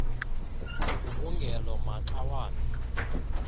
ugubungelo maxa wambi